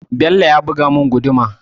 Bello ya buga mun guduma